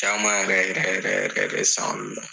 Caman yɛrɛ yɛrɛ yɛrɛ